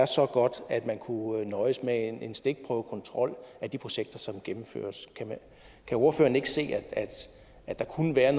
så godt at man kunne nøjes med en stikprøvekontrol af de projekter som gennemføres kan ordføreren ikke se at der kunne være